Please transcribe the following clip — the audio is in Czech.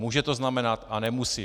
Může to znamenat, a nemusí.